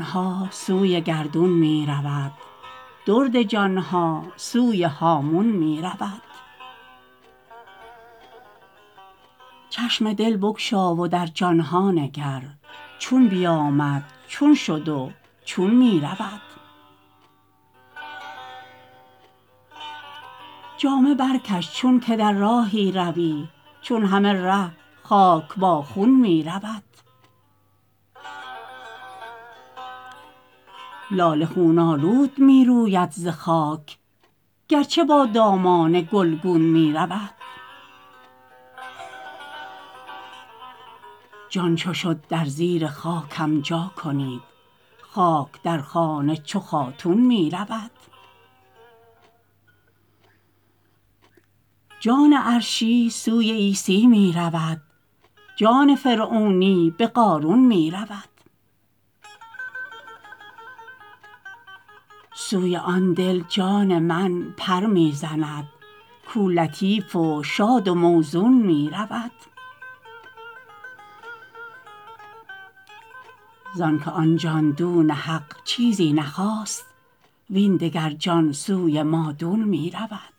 ها سوی گردون می رود درد جان ها سوی هامون می رود چشم دل بگشا و در جان ها نگر چون بیامد چون شد و چون می رود جامه برکش چونک در راهی روی چون همه ره خاک با خون می رود لاله خون آلود می روید ز خاک گرچه با دامان گلگون می رود جان چو شد در زیر خاکم جا کنید خاک در خانه چو خاتون می رود جان عرشی سوی عیسی می رود جان فرعونی به قارون می رود سوی آن دل جان من پر می زند کو لطیف و شاد و موزون می رود زانک آن جان دون حق چیزی نخواست وین دگر جان سوی مادون می رود